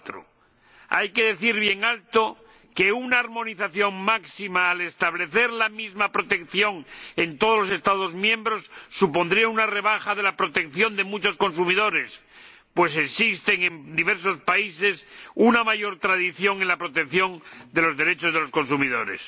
4. Hay que decir bien alto que una armonización máxima, al establecer la misma protección en todos los Estados miembros, supondría una rebaja de la protección de muchos consumidores, pues existe en diversos países una mayor tradición en la protección de los derechos de los consumidores.